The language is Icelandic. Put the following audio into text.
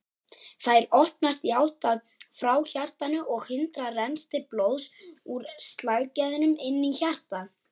Þær opnast í átt frá hjartanu og hindra rennsli blóðs úr slagæðunum inn í hjartað.